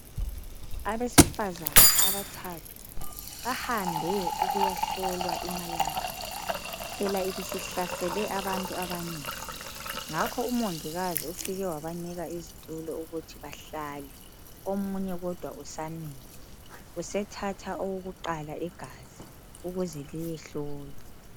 Abesifazana abathathu bahambe ukuyahlolwa i"malaria" phela ibisihlasele abantu abanengi ngakho umongikazi ufike wabanika izitulo ukuthi bahlale omunye kodwa usamile ,usethatha owokuqala igazi ukuze liyehlolwa.